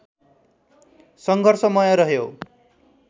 सङ्घर्षमय रह्यो